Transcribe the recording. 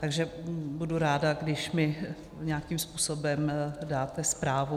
Takže budu ráda, když mi nějakým způsobem dáte zprávu.